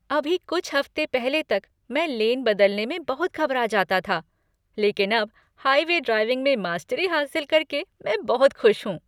अभी कुछ हफ्ते पहले तक मैं लेन बदलने में बहुत घबरा जाता था, लेकिन अब हाईवे ड्राइविंग में मास्टरी हासिल करके मैं बहुत खुश हूँ।